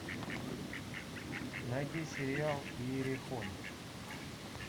найди сериал иерихон